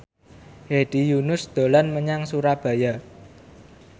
Hedi Yunus dolan menyang Surabaya